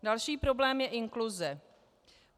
Další problém je inkluze.